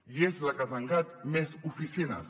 i és la que ha tancat més oficines